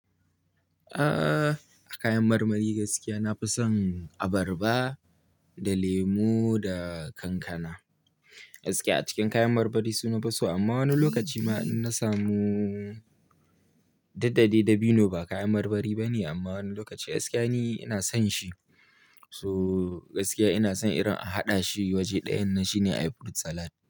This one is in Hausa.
Aaa, kayan marmari gaskiya nafi son abarba da lemu da kankana. Gaskiya a cikin kayan marmari suna fi so amma wani lokaci ma in na samu duk dai dabino ba kayan marmari bane amma wani lokaci gaskiya ni ina son shi. So gaskiya ina son irin a haɗa shi waje ɗayan nan shine a yi fruit salad.